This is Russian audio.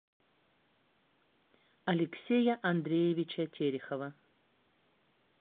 алексея андреевича терехова